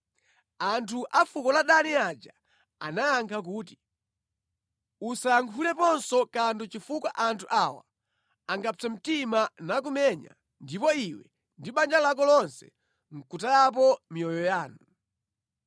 Anthu a fuko la Dani aja anayankha kuti, “Usayankhuleponso kanthu chifukwa anthu awa angapse mtima nakumenya ndipo iwe ndi banja lako lonse nʼkutayapo miyoyo yanu.”